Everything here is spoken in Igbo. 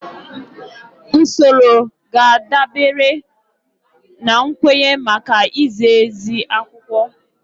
Usoro ga-adabere na nkwenye maka izi ezi akwụkwọ